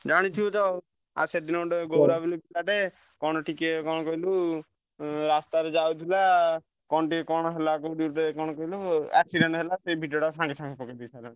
ଜାଣିଛୁ ତ ସେଦିନ ପିଲାଟେ କଣ ଟିକିଏ କଣ କହିଲୁ ଆ ରାସ୍ତା ରେ ଯାଉଥିଲା accident ହେଲା